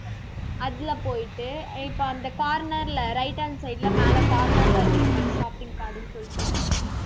அதுல போயிட்டு இப்ப அந்த corner ல right hand side ல, மேல corner ல இருக்கும் பாரு shopping card ன்னு சொல்லிட்டு